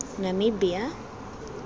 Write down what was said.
namibia